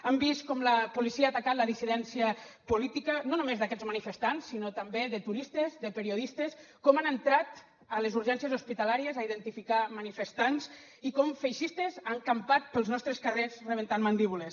hem vist com la policia ha atacat la dissidència política no només d’aquests manifestants sinó també de turistes de periodistes com han entrat a les urgències hospitalàries a identificar manifestants i com feixistes han campat pels nostres carrers rebentant mandíbules